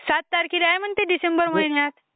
सात तारखेला आहे म्हणते डिसेंबर महिन्यात